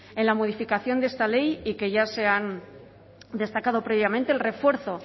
en la modificación de esta ley y que ya se han destacado previamente el refuerzo